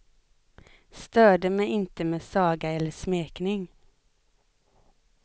Störde mig inte med saga eller smekning.